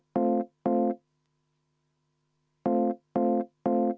Jaa, mul on samasugune soov.